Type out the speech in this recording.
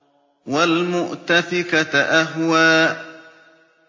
وَالْمُؤْتَفِكَةَ أَهْوَىٰ